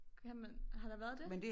Kan man har der været det?